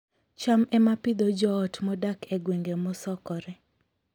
cham ema Pidhoo joot modak e gwenge mosokore